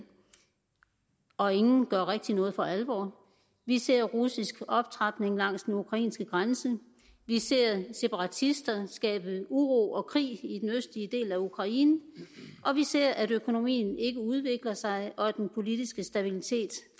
og ingen gør rigtig noget for alvor vi ser russisk optrapning langs den ukrainske grænse vi ser separatisterne skabe uro og krig i den østlige del af ukraine vi ser at økonomien ikke udvikler sig og at den politiske stabilitet